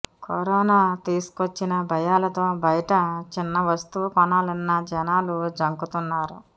corona తీసుకొచ్చిన భయాలతో బయట చిన్న వస్తువు కొనాలన్న జనాలు జంకుతున్నారు